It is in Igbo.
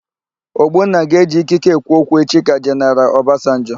Ogbonna ga-eji ikike ekwu okwu echi ka Jeneral Ọbasanjọ.